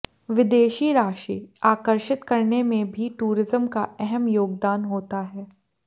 विदेशी राशि आकर्षित करने में भी टूरिज्म का अहम योगदान होता है